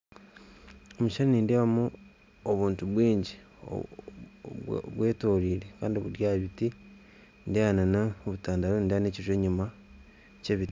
Omu kishushani nindebamu obuntu bwingi bwetorire kandi buri aha biti nindeeba na n'obutandaaro nindeeba n'ekiju enyuma ky'ebiti